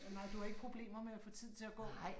Nej du har ikke problemer med at få tiden til at gå